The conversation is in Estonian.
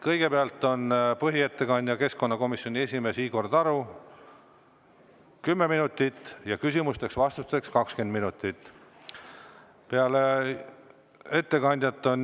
Kõigepealt on põhiettekandja, keskkonnakomisjoni esimees Igor Taro, 10 minutit, küsimusteks-vastusteks 20 minutit.